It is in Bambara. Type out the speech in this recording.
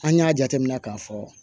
An y'a jateminɛ k'a fɔ